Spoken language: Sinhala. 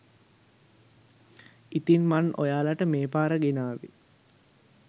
ඉතින් මන් ඔයාලට මේ පාර ගෙනාවේ